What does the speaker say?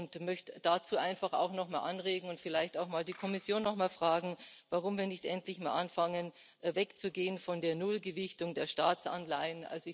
Ich möchte dazu einfach auch nochmal anregen und vielleicht auch die Kommission nochmal fragen, warum wir nicht endlich mal anfangen, wegzugehen von der Nullgewichtung der Staatsanleihen.